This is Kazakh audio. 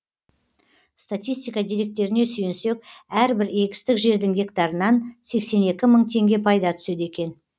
статистика деректеріне сүйенсек әрбір егістік жердің гектарынан сексен екі мың теңге пайда түседі екен